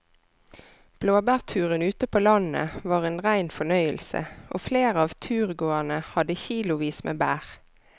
Blåbærturen ute på landet var en rein fornøyelse og flere av turgåerene hadde kilosvis med bær.